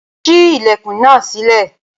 sí ilẹkùn nà sile